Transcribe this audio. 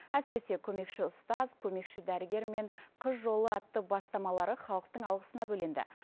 әсіресе көмекші ұстаз көмекші дәрігер мен қыз жолы атты бастамалары халықтың алғысына бөленді